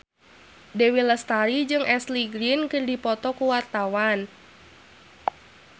Dewi Lestari jeung Ashley Greene keur dipoto ku wartawan